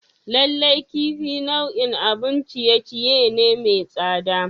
Lallai kifi nau'in abun ciye-ciye ne mai tsada.